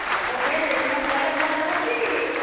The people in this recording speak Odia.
ଆଉ Buffet system କଲେ ଭଲ ହେବ କି ?